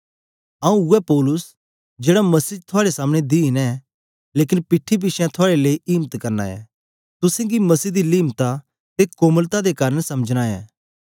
आंऊँ उवै पौलुस जेड़ा मसीह च थुआड़े सामने दीन ऐं लेकन पीठी पिछें थुआड़े लेई इम्त करना ऐं तुसेंगी मसीह दी लिमता ते कोमलता दे कारन समझना ऐं